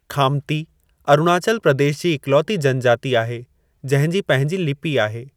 खामती अरुणाचल प्रदेश जी इक्लौती जनजाति आहे जंहिं जी पंहिंजी लिपि आहे।